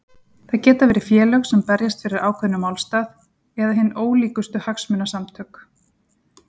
Það geta verið félög sem berjast fyrir ákveðnum málstað eða hin ólíkustu hagsmunasamtök.